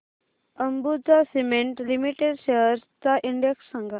Ambuja cement limited shares चा index सांगा